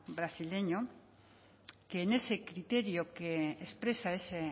brasileño que en ese criterio que expresa este